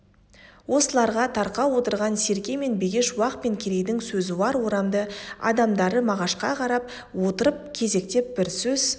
осыларға тақау отырған серке мен бегеш уақ пен керейдің сөзуар орамды адамдары мағашқа қарап отырып кезектеп бір сөз